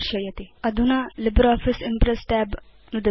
अधुना LibreOffice Impress tab नुदतु